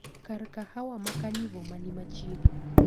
Kar kahawa ma carnivore mani machiegni